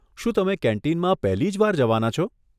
શું તમે કેન્ટીનમાં પહેલી જ વાર જવાના છો?